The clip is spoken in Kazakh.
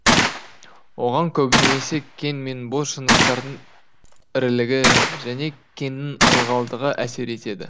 оған көбінесе кен мен бос жыныстардың ірілігі және кеннің ылғалдығы әсер етеді